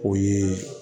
O ye